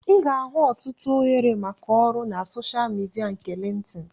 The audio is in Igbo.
Ị ga-ahụ ọtụtụ ohere maka ọrụ na soshal midia nke Lintin